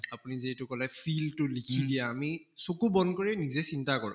আপুনি যিহেতু কʼলে feel টো লিখি দিয়া আমি চকু বন্ধ কৰি নিজে চিন্তা কৰোঁ